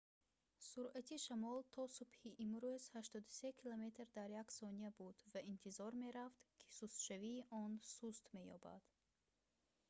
суръати шамол то субҳи имрӯз 83 км/с буд ва интизор мерафт ки сустшавии он суст меёбад